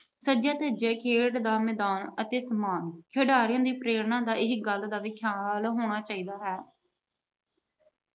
ਸਜਿਆ ਧਜਿਆ ਖੇਡ ਦਾ ਮੈਦਾਨ ਅਤੇ ਸਮਾਨ- ਖਿਡਾਰੀਆਂ ਦੀ ਪ੍ਰੇਰਨਾ ਦਾ ਇਹ ਗੱਲ ਦਾ ਵੀ ਖਿਆਲ ਹੋਣਾ ਚਾਹੀਦਾ ਹੈ।